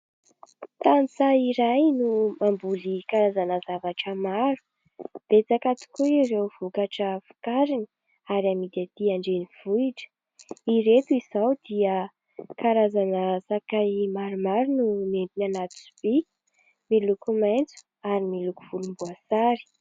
tany izahay no mamboly karazana zavatra maro .Betsaka tokoa ireo vokatra vokariny ary amidy atỳ andrenivohitra, ao ny karazana sakay maromaro no nentiny anaty sobika miloko maintso ary miloko volom-boasary